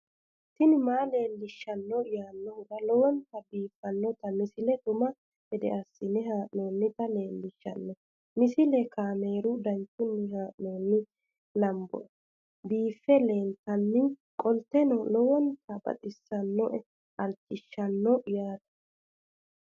tini maa leelishshanno yaannohura lowonta biiffanota misile xuma gede assine haa'noonnita leellishshanno misileeti kaameru danchunni haa'noonni lamboe biiffe leeeltannoqolten lowonta baxissannoe halchishshanno yaate